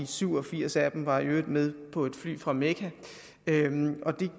syv og firs af dem var i øvrigt med på et fly fra mekka det